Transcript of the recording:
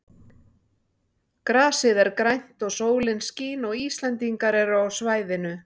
Grasið er grænt og sólin skín og Íslendingar eru á svæðinu.